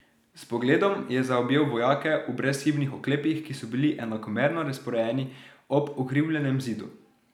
S pogledom je zaobjel vojake v brezhibnih oklepih, ki so bili enakomerno razporejeni ob ukrivljenem zidu.